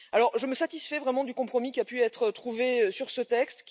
Aussi, je me satisfais vraiment du compromis qui a pu être trouvé sur ce texte.